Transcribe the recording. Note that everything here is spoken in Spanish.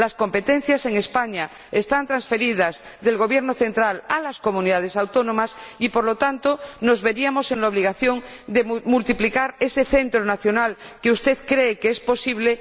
Las competencias en España están transferidas del Gobierno central a las Comunidades Autónomas y, por lo tanto, nos veríamos en la obligación de multiplicar por diecisiete ese centro nacional que usted cree que es posible.